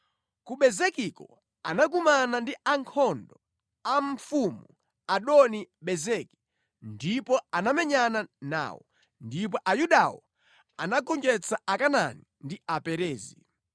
Ku Bezekiko anakumana ndi ankhondo a mfumu Adoni-Bezeki ndipo anamenyana nawo, ndipo Ayudawo anagonjetsa Akanaani ndi Aperezi.